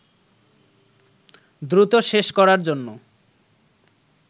দ্রুত শেষ করার জন্য